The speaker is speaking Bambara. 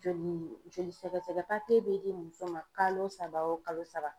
Joli joli sɛgɛsɛgɛ bɛ di muso ma kalo saba o kalo saba.